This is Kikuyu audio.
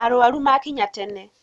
Arwaru makinya tene